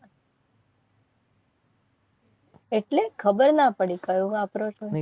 એટલે ખબર ના પડી કયો વાપરો છો.